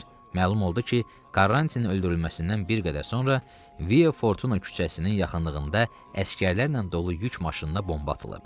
Məlum oldu ki, Karantinin öldürülməsindən bir qədər sonra Via Fortuna küçəsinin yaxınlığında əsgərlərlə dolu yük maşınına bomba atılıb.